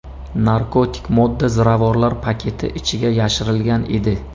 Narkotik modda ziravorlar paketi ichiga yashirilgan edi.